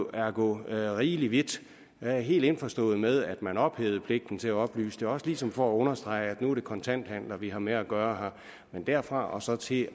er at gå rigelig vidt jeg er helt indforstået med at man ophævede pligten til at oplyse det også ligesom for at understrege at nu er det kontanthandler vi har med at gøre men derfra og så til